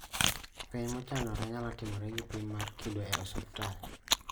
Fueny mochanore nyalo timore gi pim mar kido e osuptal